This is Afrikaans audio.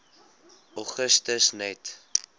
augustus net